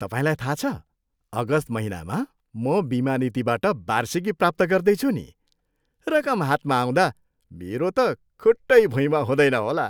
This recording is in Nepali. तपाईँलाई थाहा छ, अगस्त महिनामा म बिमा नीतिबाट वार्षिकी प्राप्त गर्दैछु नि। रकम हातमा आउँदा मेरो त खुट्टै भुइँमा हुँदैन होला।